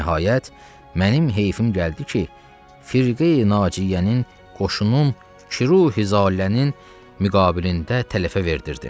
Nəhayət, mənim heyfim gəldi ki, firqeyi-nacijənin qoşunun kiruhiqzalənin müqabilində tələfə verdirdim.